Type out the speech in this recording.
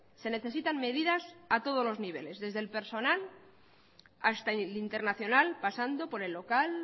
se necesitan medidas a todos los niveles desde el personal hasta el internacional pasando por el local